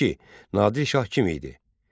İki: Nadir şah kim idi?